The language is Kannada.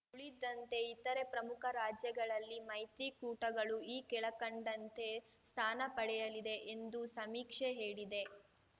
ಉಳಿದಂತೆ ಇತರೆ ಪ್ರಮುಖ ರಾಜ್ಯಗಳಲ್ಲಿ ಮೈತ್ರಿಕೂಟಗಳು ಈ ಕೆಳಕಂಡಂತೆ ಸ್ಥಾನ ಪಡೆಯಲಿದೆ ಎಂದು ಸಮೀಕ್ಷೆ ಹೇಳಿದೆ